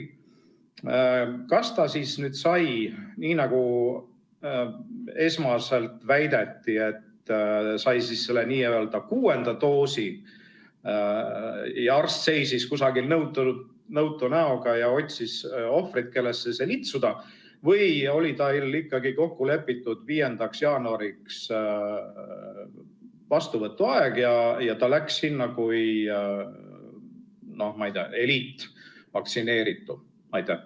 Kas ta sai selle nii, nagu esmaselt väideti, et see oli n-ö kuues doos ja arst seisis kusagil nõutu näoga ja otsis ohvreid, kellesse see litsuda, või oli tal ikkagi 5. jaanuariks kokku lepitud vastuvõtuaeg ja ta läks kohale kui, ma ei tea, eliitvaktsineeritav?